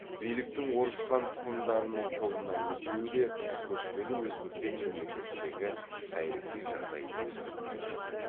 биліктің орыс хан тұқымдарының қолына өтуі де көшпелі өзбектер мемлекетіндегі саяси жағдайды өзгерткен жоқ